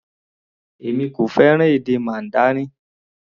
Èmi kò fẹ́ràn èdè Mandarin.